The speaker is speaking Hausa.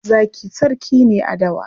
Zaki sarki ne a dawa.